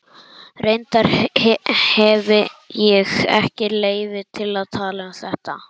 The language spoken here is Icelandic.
Reyndar hefi ég ekki leyfi til að tala um þetta.